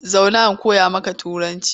Zauna in koya maka Turanci!